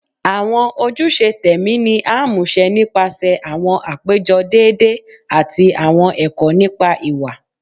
Awọn ojuse tẹmi ni a muṣẹ nipasẹ awọn apejọ deede ati awọn ẹkọ nipa iwa